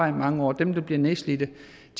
i mange år dem der bliver nedslidte